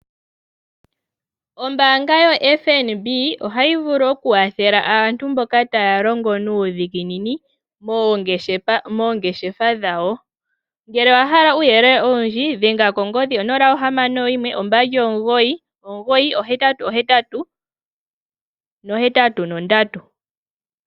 Ombaanga yo FNB ohayi vulu okukwathela aantu mboka taya longo nuudhiginini moongeshefa dhawo. Ngele owa hala uuyelele owundji dhenga kongodhi 0612998883.